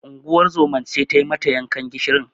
Unguwar zoman ce tai mata yankan gishirin.